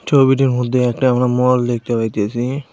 ছবিটির মধ্যে একটা আমরা মল দেখতে পাইতেসি।